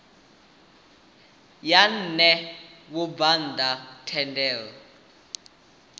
ya ṋea vhabvann ḓa thendelo